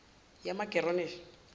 yamageronishi